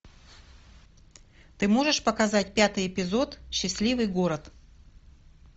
ты можешь показать пятый эпизод счастливый город